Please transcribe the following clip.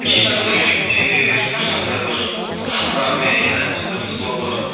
кешкі көйлектер бір сондай бір тастарымен әсіресе қыз балалар